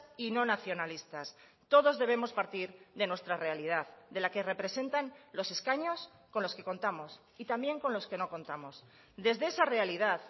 y no nacionalistas todos debemos partir de nuestra realidad de la que representan los escaños con los que contamos y también con los que no contamos desde esa realidad